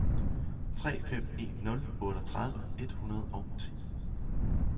tre fem en nul otteogtredive et hundrede og ti